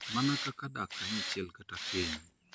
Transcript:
Mana kaka dak kanyachiel kata keny.